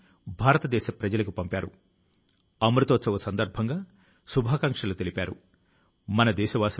స్వాతంత్ర్య అమృత మహోత్సవం కాలం లో వారు చేసినటువంటి ప్రయాస ను నేను అభినందిస్తున్నాను